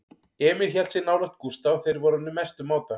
Emil hélt sig nálægt Gústa og þeir voru orðnir mestu mátar.